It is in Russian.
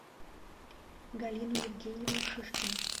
галину евгеньевну шишкину